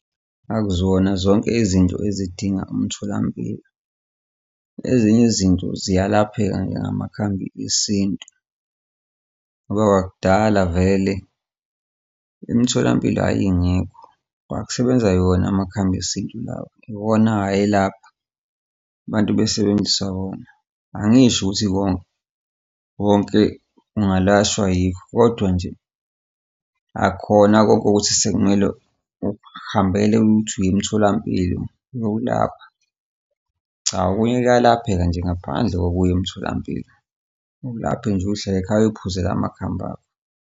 Akuzona zonke izinto ezidinga umtholampilo. Ezinye izinto ziyalapheka nje ngamakhambi esintu ngoba kudala vele imtholampilo yayingekho kwakusebenza wona amakhambi esintu lawa iwona ayelapha abantu besebenzisa wona. Angisho ukuthi konke ungalashwa yikho kodwa nje akukhona konke ukuthi sekumele ukuhambele uthi uya emtholampilo uyokulapha. Cha okunye kuyalapheka nje ngaphandle komtholampilo, ulaphe nje uy'hlalele ekhaya uy'phuzele amakhambi akho.